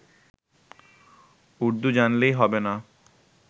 উর্দু জানলেই হবে না